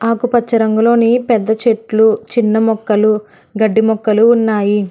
ఆకుపచ్చ రంగులోని పెద్ద చెట్లు చిన్న మొక్కలు గడ్డి మొక్కలు ఉన్నాయి.